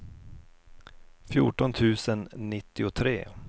fjorton tusen nittiotre